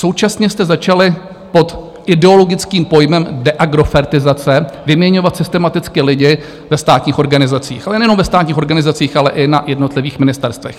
Současně jste začali pod ideologickým pojmem deagrofertizace vyměňovat systematicky lidi ve státních organizacích, ale nejenom ve státních organizacích, ale i na jednotlivých ministerstvech.